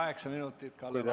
Kaheksa minutit Kalle Laanetile.